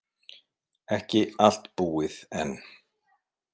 Ekki allt búið enn.